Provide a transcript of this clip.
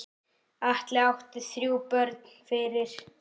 Atli átti þrjú börn fyrir.